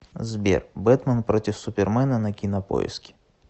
сбер бэтмен против супермена на кинопоиске